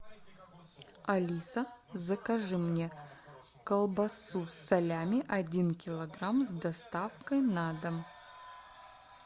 алиса закажи мне колбасу салями один килограмм с доставкой на дом